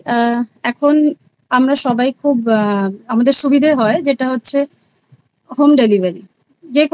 এখন আমরা সবাই আ আমাদের খুব সুবিধে হয় যেটা হচ্ছে home delivery যেকোনো কিছু